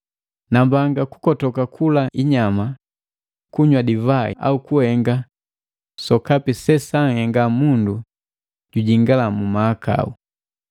Nambanga kukotoka kula inyama, kunywa divai au kuhenga sokapi se sanhenga mundu jujingala mu mahakau.